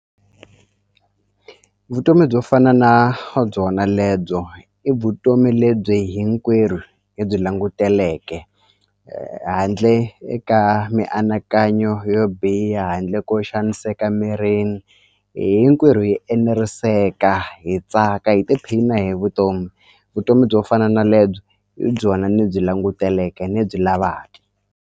Vutomi byo fana na byona lebyo i vutomi lebyi hinkwerhu hi byi languteke handle eka mianakanyo yo biha handle ko xaniseka mirini hinkwerhu hi eneriseka hi tsaka hi tiphina hi vutomi vutomi byo fana na lebyo hi byona ni byi languteleke ni byi lavaka.